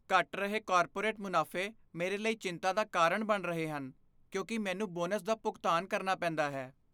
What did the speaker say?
ਘਟ ਰਹੇ ਕਾਰਪੋਰੇਟ ਮੁਨਾਫ਼ੇ ਮੇਰੇ ਲਈ ਚਿੰਤਾ ਦਾ ਕਾਰਨ ਬਣ ਰਹੇ ਹਨ, ਕਿਉਂਕਿ ਮੈਨੂੰ ਬੋਨਸ ਦਾ ਭੁਗਤਾਨ ਕਰਨਾ ਪੈਂਦਾ ਹੈ।